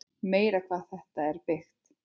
Meira hvað það er byggt!